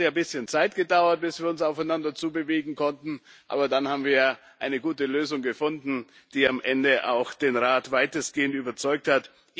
Es hat ein bisschen gedauert, bis wir uns aufeinander zubewegen konnten, aber dann haben wir eine gute Lösung gefunden, die am Ende auch den Rat weitestgehend überzeugt hat.